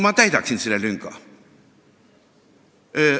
Ma täidaksin selle lünga.